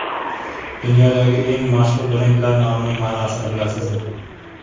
Dunyodagi eng mashhur brendlar nomining ma’nosini bilasizmi?.